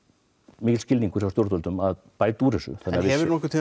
mikill skilningur hjá stjórnvöldum til að bæta úr þessu en hefur